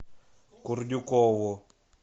курдюкову